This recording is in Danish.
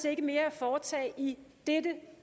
ikke mere at foretage i dette